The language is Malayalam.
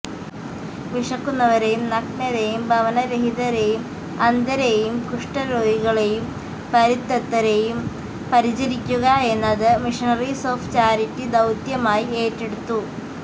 വിശക്കുന്നവരെയും നഗ്നരെയും ഭവനരഹിതരെയും അന്ധരെയും കുഷ്ഠരോഗികളെയും പരിത്യക്തരെയും പരിചരിക്കുക എന്നത് മിഷണറീസ് ഓഫ് ചാരിറ്റി ദൌത്യമായി ഏറ്റെടുത്തു